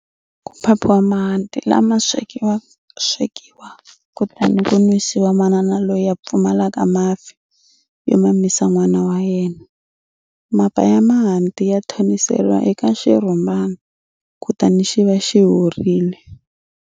Ku phaphiwa mahanti lawa ma swekiwa kutani ku nwisiwa manana loyi a pfumalaka mafi yo mamisa nwana wa yena. Mapa ya mahanti ya thoniseriwa eka xirhumbana kutani xi va xi horile.